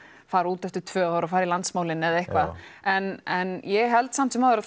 fara út eftir tvö ár og fara í landsmálin eða eitthvað en en ég held samt sem áður að